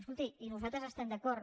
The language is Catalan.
escolti i nosaltres hi estem d’acord